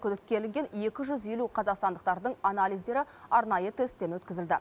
күдікке ілінген екі жүз елу қазақстандықтардың анализдері арнайы тесттен өткізілді